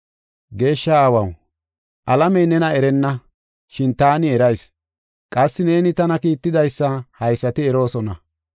“Geeshsha Aawaw, alamey nena erenna, shin taani erayis. Qassi neeni tana kiittidaysa haysati eroosona.